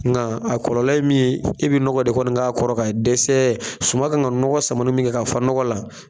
Nga a kɔlɔlɔ ye min e be nɔgɔ de kɔni k'a kɔrɔ ka dɛsɛ suma kan ka nɔgɔ samani min kɛ ka fa nɔgɔ la